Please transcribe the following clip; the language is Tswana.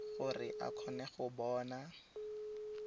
gore a kgone go bona